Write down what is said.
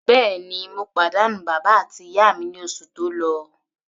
Bẹ́ẹ̀ni, mo pàdánù bàbá àti ìyá mi ní oṣù tó lọ.